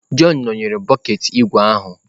Jọn nọnyeere bọket ígwè ahụ